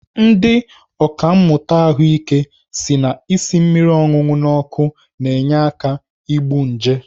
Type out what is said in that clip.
Ndị ọkàmmụta ahụike si na isi mmiri ọṅụṅụ n'ọkụ na-enye aka egbu nje.